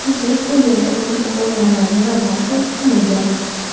Keyinchalik bu yerga uning o‘g‘illari va nevaralari ham ko‘milgan.